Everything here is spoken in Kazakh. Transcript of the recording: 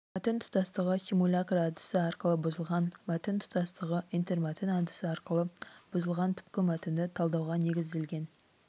мәтін тұтастығы симулякр әдісі арқылы бұзылған мәтін тұтастығы интермәтін әдісі арқылы бұзылған түпкі мәтінді талдауға негізделген